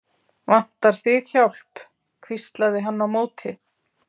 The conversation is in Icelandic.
Vantar þig hjálp? hvíslaði hann á móti.